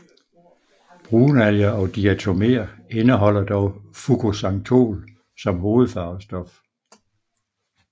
Brunalger og diatoméer indeholder dog fukoxantol som hovedfarvestof